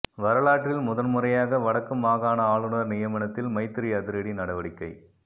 வரலாற்றில் முதன் முறையாக வடக்கு மாகாண ஆளுநர் நியமனத்தில் மைத்திரி அதிரடி நடவடிக்கை